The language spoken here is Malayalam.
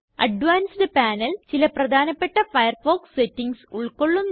അഡ്വാൻസ്ഡ് പനേൽ ചില പ്രധാനപ്പെട്ട ഫയർഫോക്സ് സെറ്റിംഗ്സ് ഉള്ക്കൊള്ളുന്നു